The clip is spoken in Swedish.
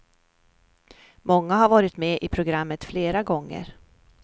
Många har varit med i programmet flera gånger.